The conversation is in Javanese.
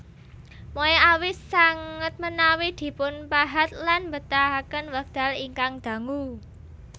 Moai awis sanget menawi dipunpahat lan mbetahaken wekdal ingkang dangu